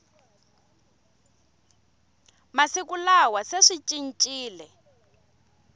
masiku lawa se swi cincile